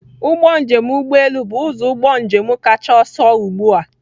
Ụgbọ njem ụgbọ elu bụ ụzọ ụgbọ njem kacha ọsọ ugbu a.